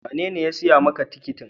Wanene ya siya ma ka tikitin?